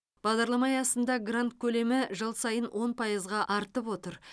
бағдарлама аясында грант көлемі жыл сайын он пайызға артып отыр